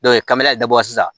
kamera de bɔ a la sisan